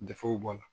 Dɛfuw bɔ a la